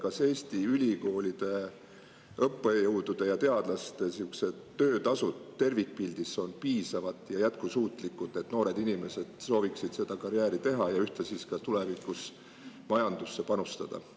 Kas Eesti ülikoolide õppejõudude ja teadlaste töötasud tervikpildis on piisavad ja jätkusuutlikud, et noored inimesed sooviksid seda karjääri teha ja ühtlasi tulevikus majandusse panustada?